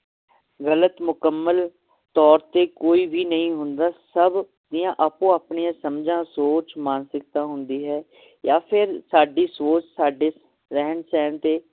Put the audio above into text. ਗਲਤ ਮੁਕੱਮਲ ਤੌਰ ਤੇ ਕੋਈ ਵੀ ਨਹੀਂ ਹੁੰਦਾ ਸਬ ਦੀਆਂ ਆਪੋ ਆਪਣੀਆਂ ਸਮਝਾਂ ਸੋਚ ਮਾਨਸਿਕਤਾ ਹੁੰਦੀ ਹੈ ਯਾ ਫਿਰ ਸਾਡੀ ਸੋਚ ਸਾਡੇ ਰਹਿਨ ਸਹਿਣ ਤੇ